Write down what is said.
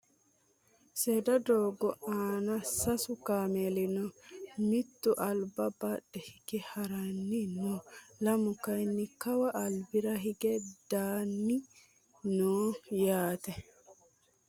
Seeda doogo aana sasu kaameli no. Mittu alba badhe hige haranni no. Lamu kaayi Kawa albira higge dagganni no yaate.